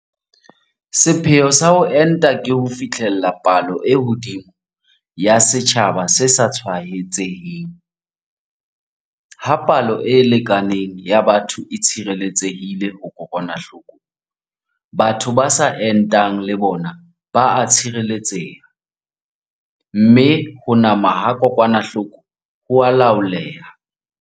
Sepheo sa ho enta ke ho fihlella palo e hodimo ya setjhaba se sa tshwaetseheng - ha palo e lekaneng ya batho e tshireletsehile ho kokwanahloko, batho ba sa entang le bona ba a tshireletseha, mme ho nama ha kokwanahloko ho a laoleha.